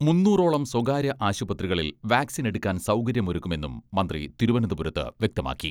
മുന്നൂറോളം സ്വകാര്യ ആശുപത്രികളിൽ വാക്സിൻ എടുക്കാൻ സൗകര്യം ഒരുക്കുമെന്നും മന്ത്രി തിരുവനന്തപുരത്ത് വ്യക്തമാക്കി.